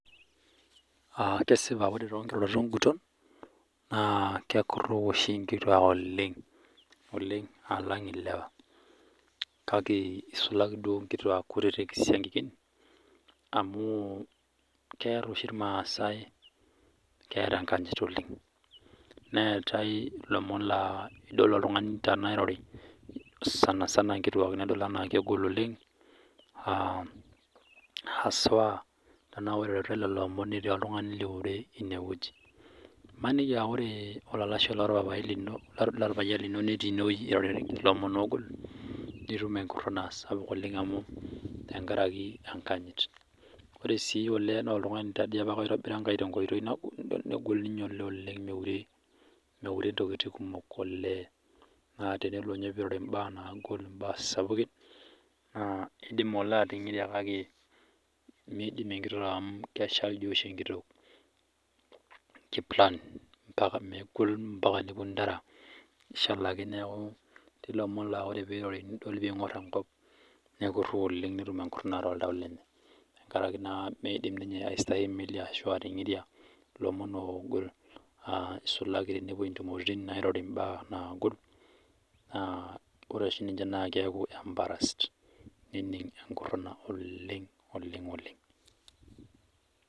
Kesipa ore teguton naa kekuru oshi nkituak oleng alag elewa kake esulaki ntituak kureti siankikin amu ketaa oshi irmasai enkanyit neetae elomon laa tenirori sanisana nkituak nedol ena kedol hasua ena ore lelo omon netii oltung'ani liure ene wueji maniki ore alalshe lorpayian lino netii enewueji eroritae elomon ogol nitum enkurna sapuk oleng amu nkaraki enkanyit ore olee naa oltung'ani apa kitobira enkai tee nkoitoi nagol negol ninye olee meure ntokitin kumok naa tenelo ninye pee eirori mbaa nagol mbaa sapukin naa edim olee atingiriaa kake midim Enkitok amu keshal oshi Enkitok megol ometuu ntare ang neeku etii elomon laa ore pee eirori ning'or enkop netum enkuruna tooltau lenye tenkaraki naa midim ninye atingira elomon ogol aa esulaki tenepuoi ntumoritin Nairobi elomon ogol naa ore oshi ninche naa keeku embaras nenig enkuruna oleng oleng